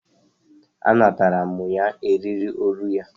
A natara mụ ya eriri olu ya.